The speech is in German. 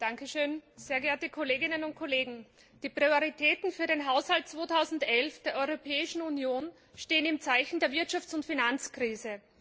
Herr Präsident, sehr geehrte Kolleginnen und Kollegen! Die Prioritäten für den Haushalt 2011 der Europäischen Union stehen im Zeichen der Wirtschafts und Finanzkrise.